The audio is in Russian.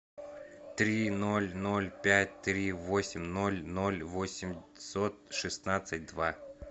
три ноль ноль пять три восемь ноль ноль восемьсот шестнадцать два